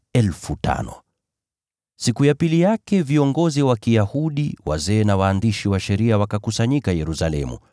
Kesho yake, viongozi wa Kiyahudi, wazee na walimu wa sheria wakakusanyika Yerusalemu.